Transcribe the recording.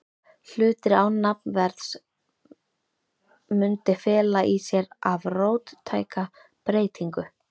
hlutir án nafnverðs, mundi fela í sér of róttæka breytingu.